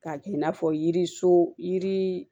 K'a kɛ i n'a fɔ yiri so yiri